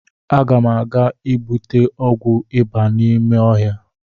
Agam aga igbute ọgwụ ịba n’ime ọhịa